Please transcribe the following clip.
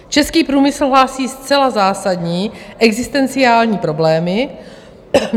Český průmysl hlásí zcela zásadní existenciální problémy.